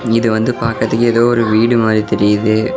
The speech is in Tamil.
இது வந்து பாக்கரதுக்கு எதோ ஒரு வீடு மாரி தெரியுது.